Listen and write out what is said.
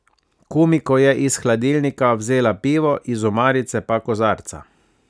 Kumiko je iz hladilnika vzela pivo, iz omarice pa kozarca.